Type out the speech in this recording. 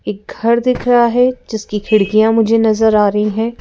एक घर दिख रहा है जिसकी खिड़कियां मुझे नजर आ रही हैं।